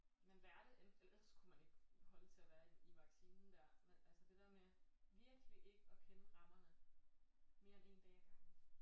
Man lærte ellers kunne man ikke holde til at være i i vaccinen der men altså det der med virkelig ikke at kende rammerne mere end én dag ad gangen